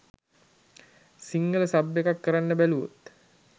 Sinhala sub එකක් කරන්න බැලුවොත්